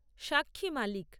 সাক্ষী মালিক